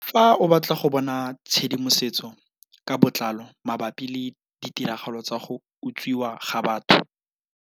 Fa o batla go bona tshedimosetso ka botlalo mabapi le ditiragalo tsa go utswiwa ga batho.